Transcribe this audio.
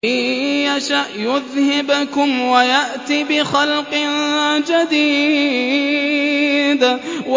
إِن يَشَأْ يُذْهِبْكُمْ وَيَأْتِ بِخَلْقٍ جَدِيدٍ